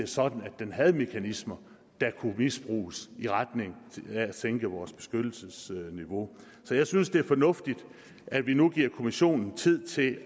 sådan at man havde mekanismer der kunne misbruges i retning af at sænke vores beskyttelsesniveau så jeg synes at det er fornuftigt at vi nu giver kommissionen tid til